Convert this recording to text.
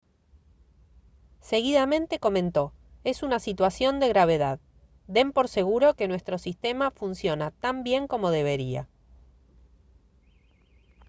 seguidamente comentó: «es una situación de gravedad. den por seguro que nuestro sistema funciona tan bien como debería»